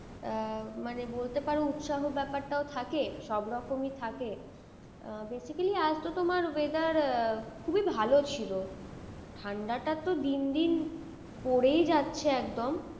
আহ মানে বলতে পারো উৎসাহ ব্যাপারটাও থাকে সব রকমই থাকে আহ basically আজ তো তোমার weather আহ খুবই ভালো ছিল। ঠান্ডাটা তো দিন দিন পরেই যাচ্ছে একদম।